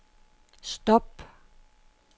stop